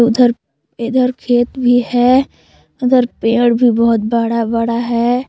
उधर इधर खेत भी है उधर पेड़ भी बहोत बड़ा बड़ा है।